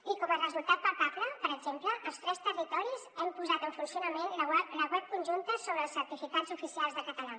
i com a resultat palpable per exemple els tres territoris hem posat en funcionament la web conjunta sobre els certificats oficials de català